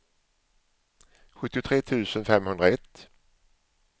sjuttiotre tusen femhundraett